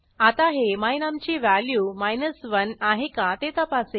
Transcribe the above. आता हे my num ची व्हॅल्यू 1 आहे का ते तपासेल